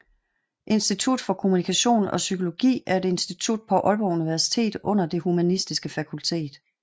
Institut for Kommunikation og Psykologi er et institut på Aalborg Universitet under Det Humanistiske Fakultet